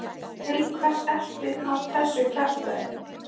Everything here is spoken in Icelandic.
Til hvers ertu að þessu kjaftæði?